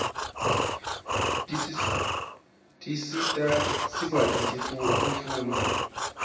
tisita sikwati kufundza